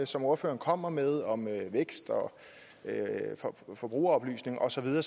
som ordføreren kommer med om vækst og forbrugeroplysning og så videre